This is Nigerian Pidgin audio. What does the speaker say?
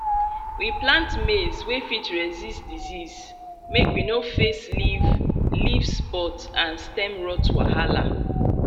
we plant maize wey fit resist disease make we no face leaf leaf spot and stem rot wahala